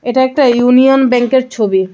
এটা একটা ইউনিয়ন ব্যাঙ্কের ছবি .